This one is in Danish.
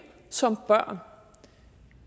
som børn